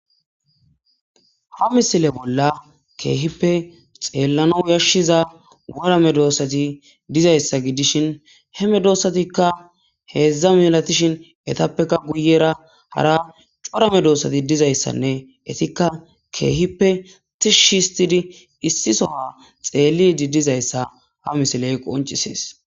ha misile bolla keehippe xeellano yashshiza worame doossati dizayssa gidishin heme doossatikka heedzdza milatishin etappekka guyera hara corame doossati dizayssanne etikka keehippe tishshihistidi issisoha xeellidi dizayssa ha misiley qoncisees